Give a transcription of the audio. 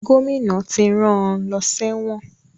Gómìnà ti rán an lọ sẹ́wọ̀n